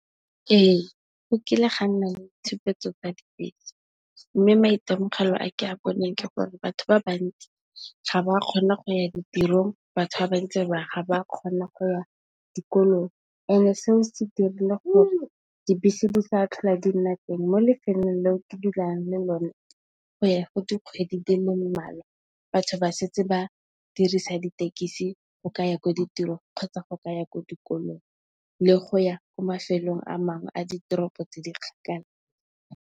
Ee go kile ga nna le tshupetso tsa dibese mme, maitemogelo a ke a boneng ke gore batho ba bantsi ga ba kgona go ya ditirong, batho ba bantsi ga ba kgona go ya dikolong. Seo se dirile gore dibese di sa tlhola di nna teng mo lefelong leo ke dulang mo lo ne go ya go dikgwedi di le mmalwa batho ba setse ba dirisa ditekisi go ka ya ko ditirong, kgotsa go ka ya ko dikolong le go ya ko mafelong a mangwe a ditoropo tse di kgakala.